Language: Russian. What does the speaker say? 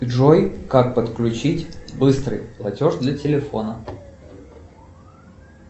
джой как подключить быстрый платеж для телефона